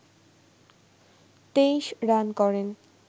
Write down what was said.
২৩ run করেন